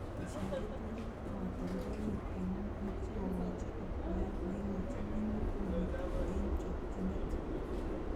Tesyi keturek ak katoldoloiwek eng nyung'unyek sikokoji akwoiyet neikojon minutik kobityo eng chokchinet